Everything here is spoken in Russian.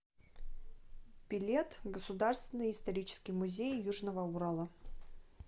билет государственный исторический музей южного урала